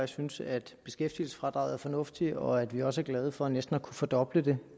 synes at beskæftigelsesfradraget er fornuftigt og at vi også er glade for næsten at kunne fordoble det